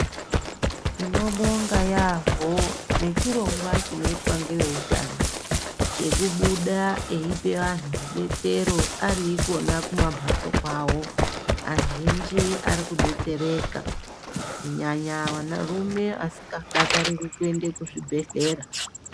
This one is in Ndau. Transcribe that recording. Tinobonga yambo nechirongwa chinoitwa ngevehutano cheibuda eipa vantu rubetsero ari ikona kumambatso kwawo. Azhinji ari kudetsereka kunyanya vanarume asingadi kuenda kuzvibhedhlera.